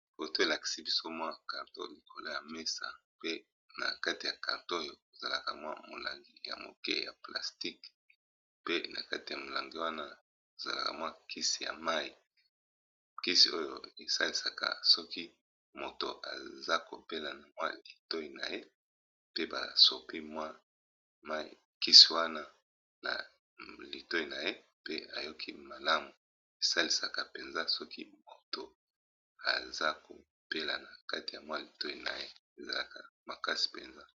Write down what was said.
Awa balakisi biso carton likolo ya mesa pe na kati ya carton oyo ezalaka n'a molangi ya moke ya plastique , pe na kati ya molangi wana ezalaka na kisi ya mai kisi oyo esalisaka soki mutu azo kobela na litoi na ye pe basopi mai ya kisi wana na litoi na ye pe ayoki malamu esalisaka mpenza soki moto azo kobela na kati ya litoi na ye ezalaka makasi mpenza.